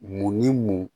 Mun ni mun